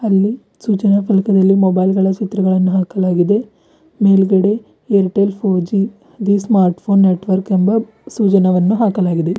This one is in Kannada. ಅಲ್ಲಿ ಸೂಚನಾ ಫಲಕದಲ್ಲಿ ಮೊಬೈಲ್ ಗಳ ಚಿತ್ರಗಳನ್ನು ಹಾಕಲಾಗಿದೆ ಮೇಲ್ಗಡೆ Airtel four G the smart phone network ಎಂಬ ಸೂಚನಾವನ್ನು ಹಾಕಲಾಗಿದೆ.